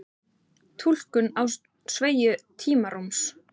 túlkun á sveigju tímarúms